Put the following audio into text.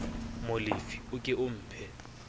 molefi o ke o mphe